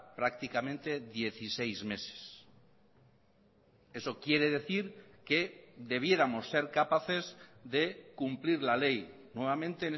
prácticamente dieciséis meses eso quiere decir que debiéramos ser capaces de cumplir la ley nuevamente